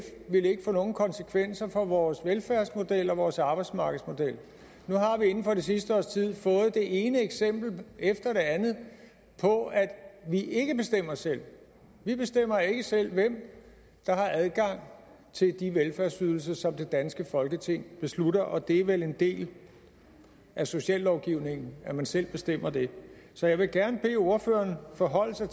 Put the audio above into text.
ville få nogen konsekvenser for vores velfærdsmodel og vores arbejdsmarkedsmodel nu har vi inden for det sidste års tid fået det ene eksempel efter det andet på at vi ikke bestemmer selv vi bestemmer ikke selv hvem der har adgang til de velfærdsydelser som det danske folketing beslutter og det er vel en del af sociallovgivningen at man selv bestemmer det så jeg vil gerne bede ordføreren forholde sig